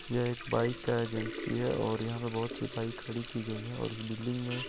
यह एक बाइक का एजेंसी हैं और यहां पे बहुत सी बाइक खड़ी की गई हैं और इस बिल्डिंग मे--